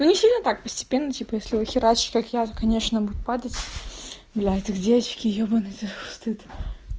ну не сильно так постепенно типа если его херачить как я то конечно будет падать блядь да где очки ёбанный ты стыд